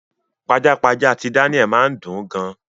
Pajápajá ti Daniel máa ni dùn gan.